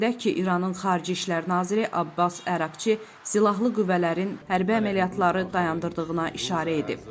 Qeyd edək ki, İranın xarici İşlər naziri Abbas Əraqçı silahlı qüvvələrin hərbi əməliyyatları dayandırdığına işarə edib.